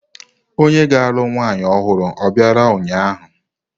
Onye na-alụ nwanyị ọhụrụ o bịara ụnyahụ?